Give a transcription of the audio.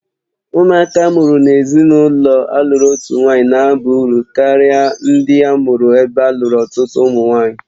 Ụmụaka a mụrụ n'ime ezinụlọ a lụrụ otu nwanyị na aba uru ndị a mụụrụ ebe alụrụ ọtụtụ ụmụ nwaanyị